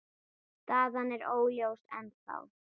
Staðan er óljós ennþá.